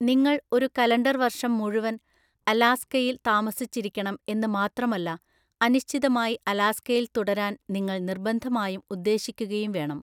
നിങ്ങൾ ഒരു കലണ്ടർ വർഷം മുഴുവൻ അലാസ്കയിൽ താമസിച്ചിരിക്കണം എന്ന് മാത്രമല്ല അനിശ്ചിതമായി അലാസ്കയിൽ തുടരാൻ നിങ്ങൾ നിര്‍ബന്ധമായും ഉദ്ദേശിക്കുകയും വേണം.